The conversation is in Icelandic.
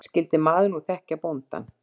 Skyldi maðurinn nú þekkja bóndann?